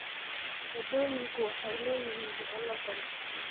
Waddooyinku waxay leeyihiin boholo badan.